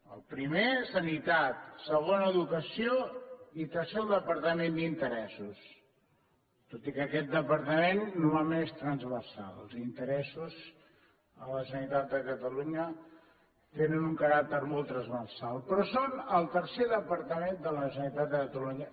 el primer sanitat segon educació i tercer el departament d’interessos tot i que aquest departament només transversal els interessos a la generalitat de catalunya tenen un caràcter molt transversal però són el tercer departament de la generalitat de catalunya